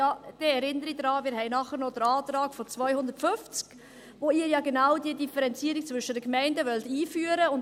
Diese erinnere ich daran, dass wir danach noch den Antrag zu Artikel 250 haben, wo Sie ja genau diese Differenzierung zwischen den Gemeinden einführen wollen.